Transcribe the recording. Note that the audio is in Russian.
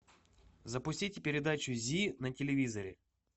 запустите передачу зи на телевизоре